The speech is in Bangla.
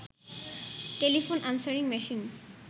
telephone answering machine